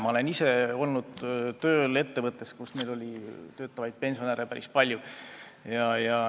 Ma olen ise olnud tööl ettevõttes, kus oli töötavaid pensionäre päris palju.